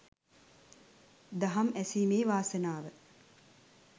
දහම් ඇසීමේ වාසනාව